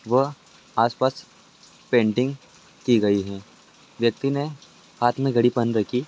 व आस-पास पेंटिंग की गई है। व्यक्ति ने हाथ में घड़ी पहन रखी--